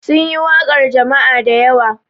Sun yi waƙar jama'a da yawa.